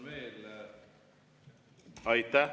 Aitäh!